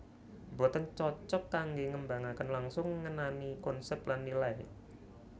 Boten cocok kanggé ngembangaken langsung ngenani konsep lan nilai